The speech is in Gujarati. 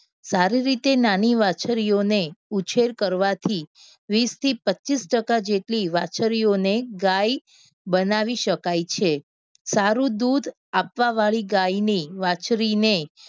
સારી રીતે નાની વાછરીઓને ઉછેર કરવાથી વીસ થી પચ્ચીસ ટકા જેટલી વાછરીઓને ગાય બનાવી શકાય છે. સારું દૂધ આપવા વાળી ગાયને વાછરીને